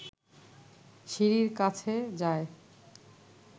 সিঁড়ির কাছে যায়